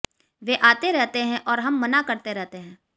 वे आते रहते हैं और हम मना करते रहते हैं